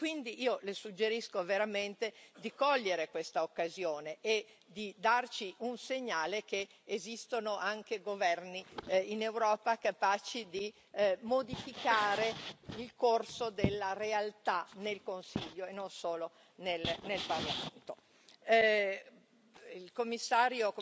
Quindi io le suggerisco veramente di cogliere questa occasione e di darci un segnale che esistono anche governi in Europa capaci di modificare il corso della realtà nel Consiglio e non solo nel Parlamento. Signor Commissario